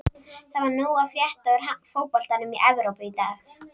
Það var nóg að frétta úr fótboltanum í Evrópu í dag.